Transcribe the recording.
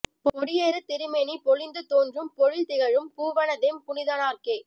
பொடியேறு திருமேனி பொலிந்து தோன்றும் பொழில் திகழும் பூவணத்தெம் புனிதனார்க்கே